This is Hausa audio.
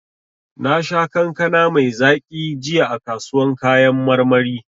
Nasha kankana mai zaki jiya a kasuwan kayan marmari.